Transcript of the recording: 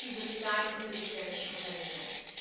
Das hemmt diese kleinen und mittelständischen Unternehmen.